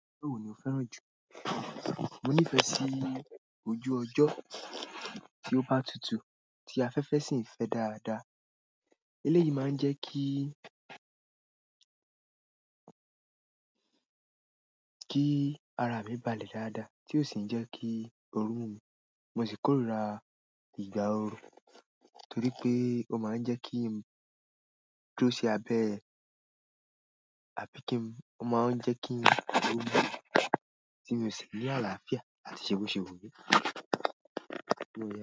Pé ewò ni ò fẹ́ràn jù. Mo nífẹ̀ẹ́ sí ojú ọjọ́ tí ó bá tutù tí afẹ́fẹ́ sì ń fẹ́ dáadáa. Eléyìí máa ń jẹ́ kí, kí ara mi balẹ̀ dáadáa tí ó sì ńí jẹ́ kí ooru mú mi, mo sì kórira ìgbà oru torí pé ó má ń jẹ́ kí n dúró sí abẹ́ àbí kí n, ó má ń jẹ́ kí n lu tí mo sì ni àlàáfíà àti ṣe boṣe wùmí.